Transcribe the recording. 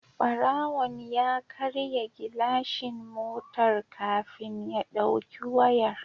Barawon ya karya gilashin motar kafin ya dauki wayar